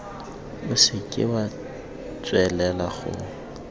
o seke wa tswelela go